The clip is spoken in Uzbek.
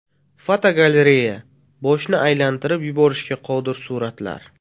Fotogalereya: Boshni aylantirib yuborishga qodir suratlar.